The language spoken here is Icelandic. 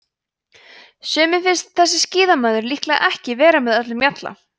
sumum finnst þessi skíðamaður líklega ekki vera með öllum mjalla